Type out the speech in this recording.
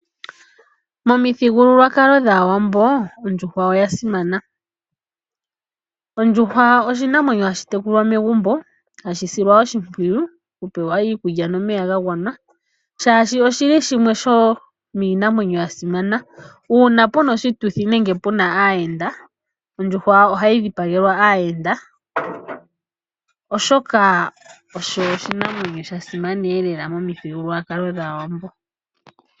Momithigululwakalo dhAawambo ondjuhwa oya simana. Ondjuhwa oshinamwenyo hashi tekulwa megumbo hashi silwa oshimpwiyu okupewa iikulya nomeya ga gwana, shaashi oshi li shimwe sho iinamwenyo ya simana. Uuna pu na oshituthi nenge pu na aayenda, ondjuhwa ohayi dhipagelwa aayenda, oshoka osho oshinamwenyo sha simaneelela momithigululwakalo dhAawambo.